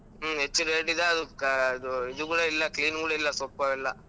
ಹ್ಮ್ ಹೆಚ್ಚು rate ಇದೆ ಅದು ಕಾ~ ಇದು ಇದು ಕೂಡಾ ಇಲ್ಲಾ clean ಕೂಡಾ ಇಲ್ಲಾ ಸೊಪ್ಪು ಅವೆಲ್ಲ.